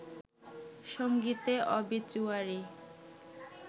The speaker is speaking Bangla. সংগীতে অবিচুয়ারি